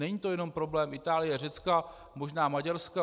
Není to jenom problém Itálie, Řecka, možná Maďarska.